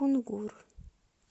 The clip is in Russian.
кунгур